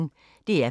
DR P1